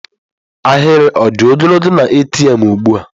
Ahịrị ọ dị ogologo na ATM ugbu a?